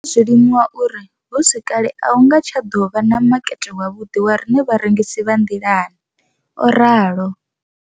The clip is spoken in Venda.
Ndo ḓo zwi limuwa uri hu si kale a hu nga tsha ḓo vha na makete wavhuḓi wa riṋe vharengisi vha nḓilani, o ralo.